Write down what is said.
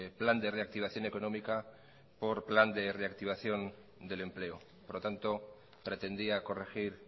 plan de reactivación económica por plan de reactivación del empleo por lo tanto pretendía corregir